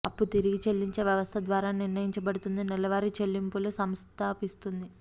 అప్పు తిరిగి చెల్లించే వ్యవస్థ ద్వారా నిర్ణయించబడుతుంది నెలవారీ చెల్లింపులు సంస్థాపిస్తోంది